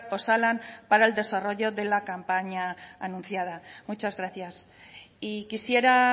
osalan para el desarrollo de la campaña anunciada muchas gracias y quisiera